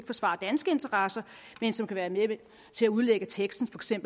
forsvarer danske interesser men som kan være med til at udlægge teksten